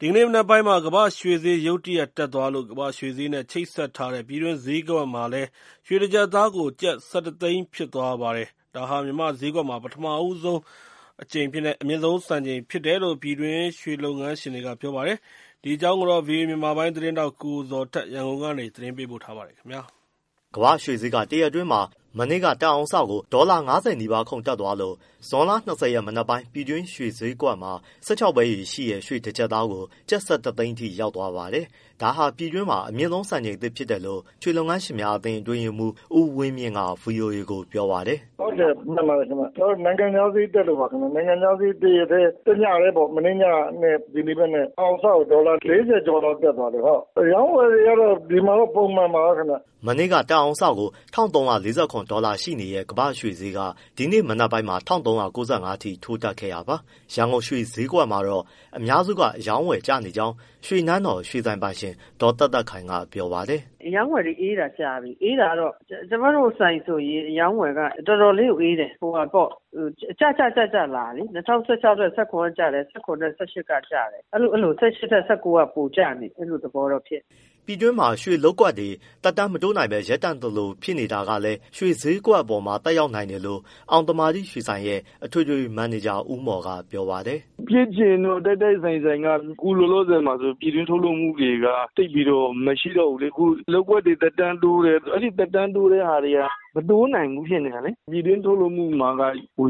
ဒီကနေ့မနက်ပိုင်းမှာ ကမ္ဘာရွှေဈေးရုတ်တရက် တက်သွားလို့ ကမ္ဘာ့ရွှေဈေးနဲ့ချိတ်ဆက်ထားတဲ့ ပြည်တွင်းဈေးကွက်မှာလည်း ရွှေတကျပ်သားကို ကျပ် ၁၁သိန်းဖြစ်သွားပါတယ်။ ဒါဟာ မြန်မာ့ဈေးကွက်မှာ ပထမဦးဆုံး အမြင့်ဆုံးစံချိန်ဖြစ်တယ်လို့ ပြည်တွင်းရွှေလုပ်ငန်းရှင်တွေက ပြောပါတယ်။ ဒီအကြောင်း ဗွီအိုအေ မြန်မာပိုင်းသတင်းထောက် ကိုဇော်ထက် ရန်ကုန်ကနေ ပေးပို့ထားပါတယ်။ ကမ္ဘာ့ရွှေဈေးက တရက်အတွင်းမှာ ဒေါ်လာ ၅၀ နီးပါးခုန်တက်သွားလို့ ဇွန်လ ၂၀ရက် မနက်ပိုင်း ပြည်တွင်းရွှေဈေးကွက်မှာ ၁၆ပဲရည်ရှိတဲ့ ရွှေတကျပ်သားကို ကျပ်၁၁သိန်းအထိရောက်သွားပါတယ်။ ဒါဟာ ပြည်တွင်းမှာ အမြင့်ဆုံးစံချိန်သစ်ဖြစ်တယ်လို့ မြန်မာနိုင်ငံ ရွှေလုပ်ငန်းရှင်များအသင်း အတွင်းရေးမှူး ဦးဝင်းမြင့်က ဗွီအိုအေကိုပြောပါတယ်။ “ ဟုတ်တယ်မှန်ပါတယ်ခင်ဗျ နိုင်ငံခြားဈေး တရက်တည်း၊ တညတည်းပေါ့ မနေ့ညနဲ့ ဒီနေ့မနက် တအောင်စကိုဒေါ်လာ ၄၀ကျော်လောက် တက်သွားလို့။ အရောင်းအဝယ်ကတော့ ဒီမှာတော့ ပုံမှန်ပါပဲ ခင်ဗျ။” မနေ့က တအောင်စကို ၁၃၄၇ဒေါ်လာရှိနေတဲ့ ကမ္ဘာ့ရွှေဈေးက ဒီနေ့မနက်ပိုင်းမှာ ၁၃၉၅အထိ ထိုးတက်ခဲ့တာပါ။ ရန်ကုန်ရွှေဈေးကွက်မှာတော့ အများစုက အရောင်းအဝယ်ကျနေကြောင်း ရွှေနန်းတော် ရွှေဆိုင်ပိုင်ရှင် ဒေါ်သက်သက်ခိုင်ကပြောပါတယ်။ “ အရောင်းအဝယ်အေးတာကြာပြီ အေးတာကတော့ကျမတို့ဆိုင်ဆိုရင် အရောင်းအဝယ်က တော်တော်လေးကိုအေးတယ်။ ကျကျလာတယ် ၂၀၁၆ထက် ၁၇ ကကျတယ်၊ ၁၇ ထက် ၁၈ ကကျတယ်။ အဲလို ၁၈ထက် ၁၉ က ပိုကျနေတယ်။ အဲလိုသဘောမျိုးဖြစ်နေတယ်။” ပြည်တွင်းရွှေလုပ်ကွက်တွေ သက်တမ်းမတိုးနိုင်ဘဲ ရပ်တန့်သလိုဖြစ်နေတာကလည်း ရွှေဈေးကွက်အပေါ်သက်ရောက်နိုင်တယ်လို့ အောင်သမာဓိရွှေဆိုင်ရဲ့ အထွေထွေမန်နေဂျာ ဦးမော်ကပြောပါတယ်။ “ ဖြစ်ချင်တော့ တိုက်တိုက်ဆိုင်ဆိုင်က အခုလောလောဆယ်မှာဆိုရင် ပြည်တွင်းထုတ်လုပ်မှုတွေက သိပ်ပြီးတော့မရှိတော့ဘူးလေ။ လုပ်ကွက်တွေသက်တမ်းတိုးတယ်၊ အဲဒီသက်တမ်းတိုးတဲ့ဟာတွေက မတိုးနိုင်ဘူးဖြစ်နေတာလေ။ ပြည်တွင်းထုတ်လုပ်မှုမှာက